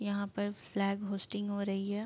यहाँ पर flag hoisting हो रही है।